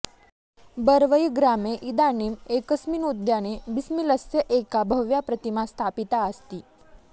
बरवई ग्रामे इदानीम एकस्मिन उद्याने बिस्मिलस्य एका भव्या प्रतिमा स्थापिता अस्ति